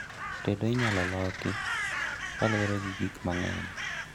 Tedo inyalo loki kaluore gi gik mang'eny